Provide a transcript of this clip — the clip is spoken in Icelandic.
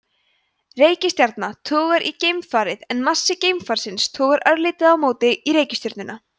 reikistjarna togar í geimfarið en massi geimfarsins togar örlítið á móti í reikistjörnuna